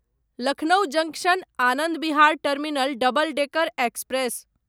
Lucknow junction Anand Vihar terminal double decker express